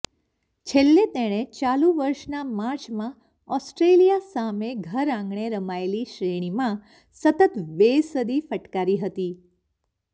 છેલ્લે તેણે ચાલુ વર્ષના માર્ચમાં ઓસ્ટ્રેલિયા સામે ઘરઆંગણે રમાયેલી શ્રેણીમાં સતત બે સદી ફટકારી હતી